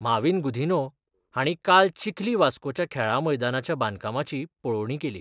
माविन गुदिन्हो हांणी काल चिखली वास्कोच्या खेळां मैदानाच्या बांदकामाची पळोवणी केली.